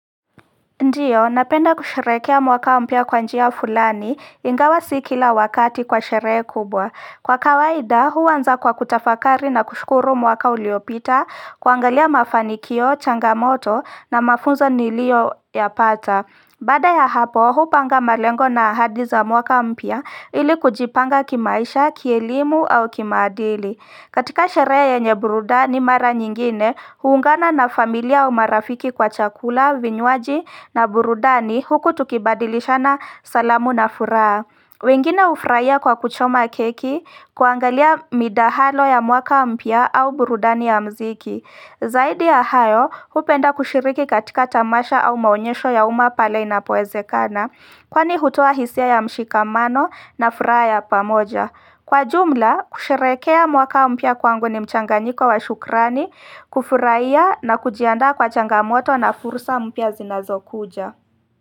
Ndiyo, napenda kusherekea mwaka mpia kwanjia fulani ingawa sikila wakati kwa sherehe kubwa. Kwa kawaida, huanza kwa kutafakari na kushukuru mwaka uliopita, kuangalia mafanikio, changamoto na mafunzo niliyo yapata. Baada ya hapo, huupanga malengo na ahadi za mwaka mpya ili kujipanga kimaisha, kielimu au kimaadili. Katika sherehe yenye burudani mara nyingine, huungana na familia au marafiki kwa chakula, vinywaji na burudani huku tukibadilishana salamu na furaa. Wengine hufurahia kwa kuchoma keki, kuangalia midahalo ya mwaka mpya au burudani ya mziki. Zaidi ya hayo, hupenda kushiriki katika tamasha au maonyesho ya uma pale inapoeze kana, kwani hutoa hisia ya mshikamano na furaha ya pamoja. Kwa jumla, kusherehekea mwaka mpya kwangu ni mchanganyiko wa shukrani, kufurahia na kujiandaa kwa changamoto na fursa mpya zinazo kuja.